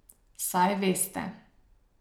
Saj veste ...